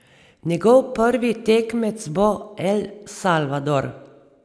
Njegov prvi tekmec bo El Salvador.